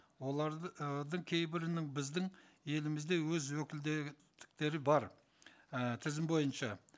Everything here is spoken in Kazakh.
кейбірінің біздің елімізде өз бар і тізім бойынша